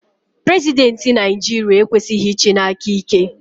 Prezidenti Naijiria ekwesighi ichi n'aka ike.